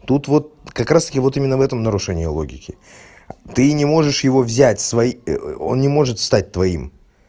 тут вот как раз таки вот именно в этом нарушение логики ты не можешь его взять свои он не может стать твоим